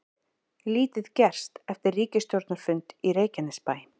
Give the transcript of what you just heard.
Lítið gerst eftir ríkisstjórnarfund í Reykjanesbæ